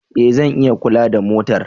E! Zan iya kula da motar.